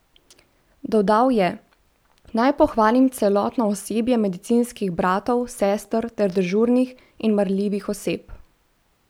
Dodal je: "Naj pohvalim celotno osebje medicinskih bratov, sester ter dežurnih in marljivih oseb!